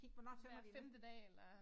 Hver femte dag eller